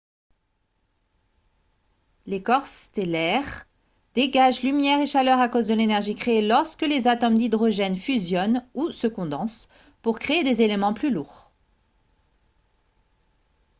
les corps stellaires dégagent lumière et chaleur à cause de l'énergie créée lorsque les atomes d'hydrogène fusionnent ou se condensent pour créer des éléments plus lourds